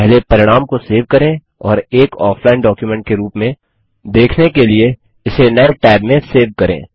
पहले परिणाम को सेव करें और एक ऑफलाइन डॉक्युमेंट के रूप में देखने के लिए इसे नये टैब में सेव करें